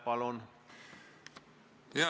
Palun!